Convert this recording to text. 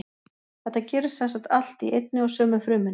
Þetta gerist sem sagt allt í einni og sömu frumunni.